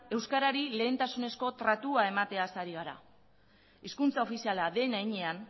euskarari lehentasunezko tratua emateaz ari gara hizkuntza ofiziala den heinean